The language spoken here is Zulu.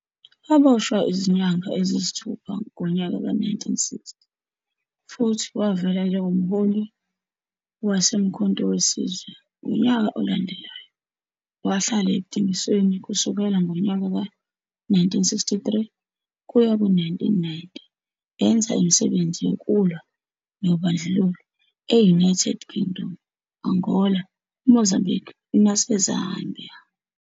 Waboshwa izinyanga eziyisithupha ngonyaka ka-1960, futhi wavela njengomholi waseMkhonto we Sizwe ngonyaka olandelayo. Wahlala ekudingisweni kusuka ngonyaka ka-1963 kuya ku-1990, enza imisebenzi yokulwa nobandlululo e-United Kingdom, Angola, Mozambique naseZambia.